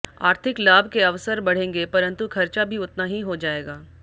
आर्थिक लाभ के अवसर बढ़ेंगे परंतु खर्चा भी उतना ही हो जाएगा